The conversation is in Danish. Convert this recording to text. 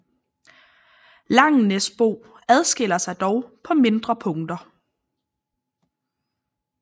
Langenæsbo adskiller sig dog på mindre punkter